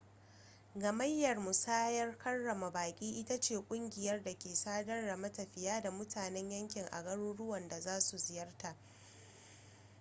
gamayyar musayar karrama baƙi ita ce ƙungiyar da ke sadar da matafiya da mutanen yankin a garuruwan da za su ziyarta